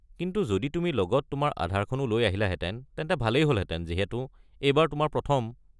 কিন্তু যদি তুমি লগত তোমাৰ আধাৰখনো লৈ আহিলাহেতেন তেন্তে ভালেই হ'লহেতেন যিহেতু এইবাৰ তোমাৰ প্ৰথম।